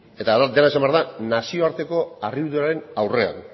eta gero esan behar da nazioarteko harriduraren aurrean